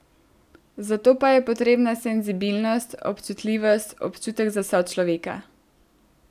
Zato pa je potrebna senzibilnost, občutljivost, občutek za sočloveka...